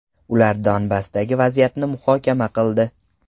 Ular Donbassdagi vaziyatni muhokama qildi.